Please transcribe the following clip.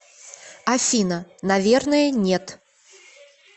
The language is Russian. афина наверное нет